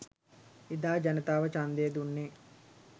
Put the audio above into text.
එදා ජනතාව ඡන්දය දුන්නේ